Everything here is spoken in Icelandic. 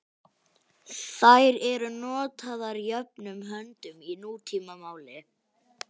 Þær eru notaðar jöfnum höndum í nútímamáli.